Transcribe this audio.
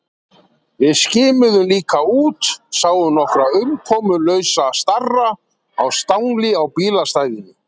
Við skimuðum líka út, sáum nokkra umkomulausa starra á stangli á bílastæðinu.